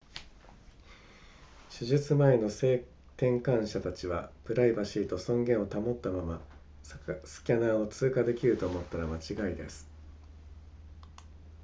手術前の性転換者たちはプライバシーと尊厳を保ったままスキャナーを通過できると思ったら間違いです